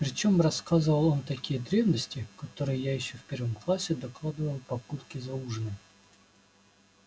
причём рассказывал он такие древности которые я ещё в первом классе докладывала папульке за ужином